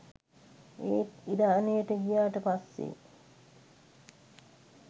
ඒත් ඉරානයට ගියාට පස්සේ